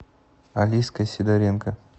алиской сидоренко